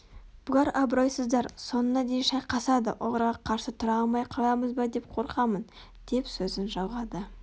бұлар абыройсыздар соңына дейін шайқасады оларға қарсы тұра алмай қаламыз ба деп қорқамын деп сөзін жалғады